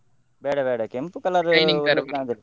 ಬೇಡ ಬೇಡ, ಕೆಂಪು colour .